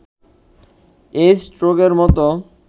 AIDS রোগের মতো